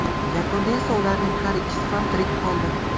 Yakunda esa ularning har ikkisi ham tirik qoldi.